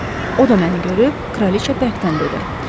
O da məni görüb, kraliçə bərkdən dedi.